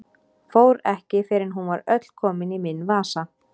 Fór ekki fyrr en hún var öll komin í minn vasa.